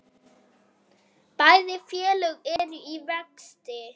Bæði félög eru í vexti.